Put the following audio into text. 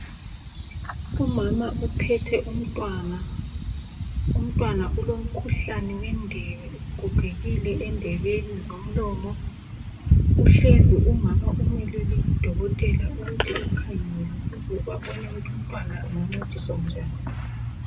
Umama uphethe umntwana. Umntwana ulomkhuhlane wendebe, ugogekile endebeni zomlomo. Uhlezi umama umelele udokotela ukuthi bamkhangele ukuze babone ukuthi umntwana angancediswa njani.